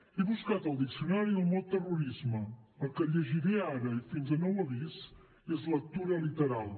he buscat al diccionari el mot terrorisme el que llegiré ara i fins a nou avís és lectura literal